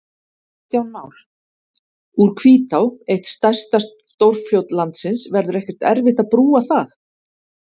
Kristján Már: Úr Hvítá, eitt stærsta stórfljót landsins, verður ekkert erfitt að brúa það?